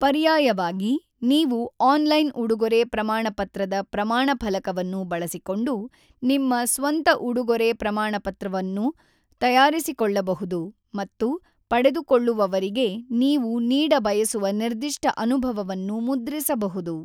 ಪರ್ಯಾಯವಾಗಿ, ನೀವು ಆನ್‌ಲೈನ್ ಉಡುಗೊರೆ ಪ್ರಮಾಣಪತ್ರದ ಪ್ರಮಾಣ ಫಲಕವನ್ನು ಬಳಸಿಕೊಂಡು ನಿಮ್ಮ ಸ್ವಂತ ಉಡುಗೊರೆ ಪ್ರಮಾಣಪತ್ರವನ್ನು ತಯಾರಿಸಿಕೊಳ್ಳಬಹುದು ಮತ್ತು ಪಡೆದುಕೊಳ್ಳುವವರಿಗೆ ನೀವು ನೀಡ ಬಯಸುವ ನಿರ್ದಿಷ್ಟ ಅನುಭವವನ್ನು ಮುದ್ರಿಸಬಹುದು.